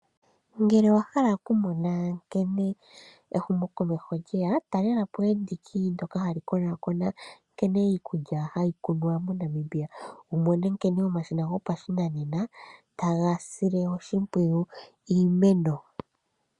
Ngele owa hala oku mona nkene ehumokomeho lyeya, talela po endiki ndoka hali konakona nkene iikulya hayi kunwa moNamibia, wu mone nkene omashina gopashinanena taga sile oshimpwiyu iimeno.